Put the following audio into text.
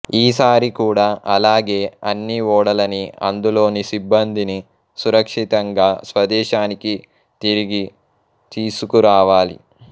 ఈసారి కూడా అలాగే అన్ని ఓడలని అందులోని సిబ్బందిని సురక్షితంగా స్వదేశానికి తిరిగి తీసుకురావాలి